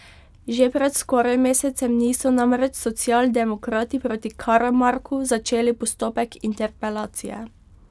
Že pred skoraj mesecem dni so namreč socialdemokrati proti Karamarku začeli postopek interpelacije.